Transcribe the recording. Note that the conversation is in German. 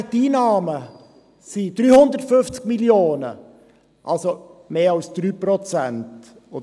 Die Einnahmen hingegen betragen 350 Mio. Franken, also mehr als 3 Prozent.